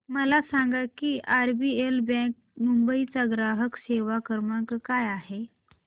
मला सांगा की आरबीएल बँक मुंबई चा ग्राहक सेवा क्रमांक काय आहे